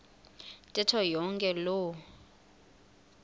ntetho yonke loo